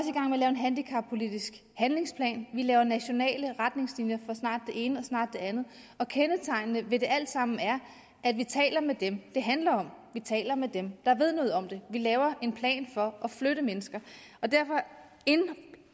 lave en handicappolitisk handlingsplan vi laver nationale retningslinjer for snart det ene og snart det andet kendetegnende det alt sammen er at vi taler med dem det handler om vi taler med dem der ved noget om det vi laver en plan for at flytte mennesker og derfor